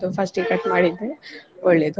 ಅದು first ಗೆ cut ಮಾಡಿದ್ರೆ ಒಳ್ಳೇದು.